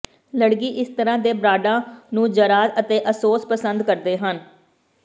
ਲੜਕੀ ਇਸ ਤਰ੍ਹਾਂ ਦੇ ਬਰਾਂਡਾਂ ਨੂੰ ਜ਼ਰਾ ਅਤੇ ਅਸੋਸ ਪਸੰਦ ਕਰਦੇ ਹਨ